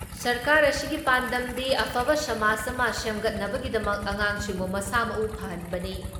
ꯁꯔꯀꯥꯔ ꯑꯁꯤꯒꯤ ꯄꯥꯟꯗꯝꯗꯤ ꯑꯐꯕ ꯁꯃꯥꯖ ꯑꯃ ꯁꯦꯝꯒꯠꯅꯕꯒꯤꯗꯃꯛ ꯑꯉꯥꯡꯁꯤꯡꯕꯨ ꯃꯁꯥ ꯃꯎ ꯐꯍꯟꯕꯅꯤ ꯫